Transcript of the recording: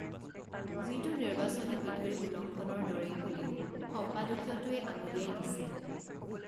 যিটো নিৰ্বাচনী বিধিৰ উলংঘনৰ দৰেই বুলিও সম্পাদকীয়টোৱে আঙুলিয়াই দিছে